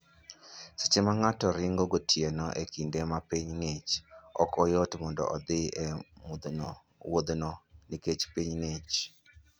Seche ma ng'ato ringo gotieno e kinde ma piny ng'ich, ok yot mondo odhi e wuodhno nikech piny ng'ich.